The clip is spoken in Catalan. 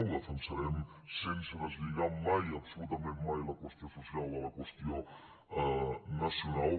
ho defensarem sense deslligar mai absolutament mai la qüestió social de la qüestió nacional